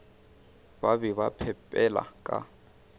ba be ba phepela ka